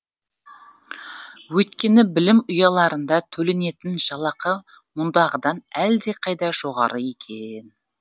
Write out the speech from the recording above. өйткені білім ұяларында төленетін жалақы мұндағыдан әлдеқайда жоғары екен